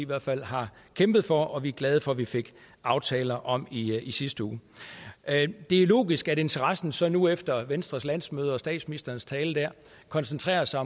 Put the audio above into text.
hvert fald har kæmpet for og som vi er glade for at vi fik aftaler om i sidste uge det er logisk at interessen så nu efter venstres landsmøde og statsministerens tale der koncentrerer sig